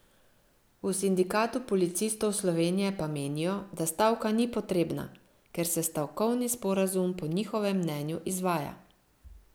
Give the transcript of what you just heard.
V Sindikatu policistov Slovenije pa menijo, da stavka ni potrebna, ker se stavkovni sporazum po njihovem mnenju izvaja.